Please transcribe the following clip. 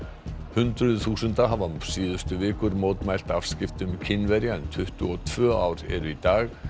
hundruð þúsunda hafa síðustu vikur mótmælt afskiptum Kínverja en tuttugu og tvö ár eru í dag